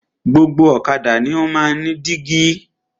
Gbogbo ọ̀kadà ni o máa ń ní dígí.